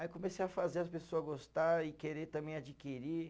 Aí comecei a fazer as pessoa gostar e querer também adquirir.